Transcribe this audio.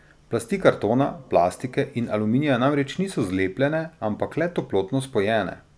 Plasti kartona, plastike in aluminija namreč niso zlepljene, ampak le toplotno spojene.